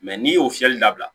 Mɛ n'i y'o fiyɛli dabila